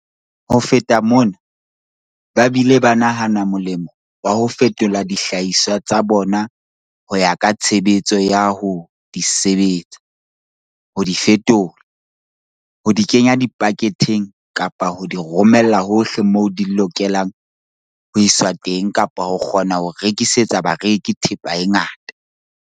Ho feta mona, ba bile ba nahana molemo wa ho fetola dihlahiswa tsa bona ho ya ka tshebetso ya ho di sebetsa, ho di fetola, ho di kenya dipaketheng kapa ho di romella hohle moo di lokelang ho iswa teng kapa ho kgona ho rekisetsa bareki thepa e ngata.